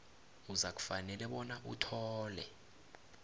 uzakufanele bona uthole